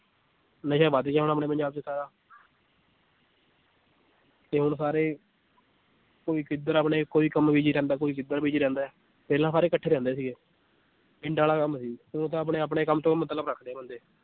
ਨਸ਼ਾ ਵੱਧ ਗਿਆ ਹੁਣ ਪੰਜਾਬ 'ਚ ਸਾਰਾ ਤੇ ਹੁਣ ਸਾਰੇ ਕੋਈ ਕਿੱਧਰ ਆਪਣੇ ਕੋਈ ਕੰਮ busy ਰਹਿੰਦਾ ਕੋਈ ਕਿੱਧਰ busy ਰਹਿੰਦਾ ਹੈ, ਪਹਿਲਾਂ ਸਾਰੇ ਇਕੱਠੇ ਰਹਿੰਦੇ ਸੀਗੇ, ਪਿੰਡ ਵਾਲਾ ਕੰਮ ਸੀ, ਹੁਣ ਤਾਂ ਆਪਣੇ ਆਪਣੇ ਕੰਮ ਤੋਂ ਮਤਲਬ ਰੱਖਦੇ ਆ ਬੰਦੇ।